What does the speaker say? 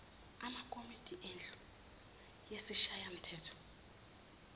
amakomidi endlu yesishayamthetho